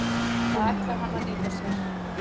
Það ætlar hann að nýta sér.